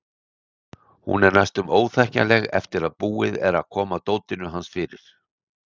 Hún er næstum óþekkjanleg eftir að búið er að koma dótinu hans fyrir.